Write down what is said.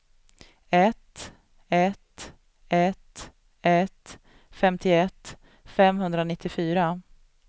ett ett ett ett femtioett femhundranittiofyra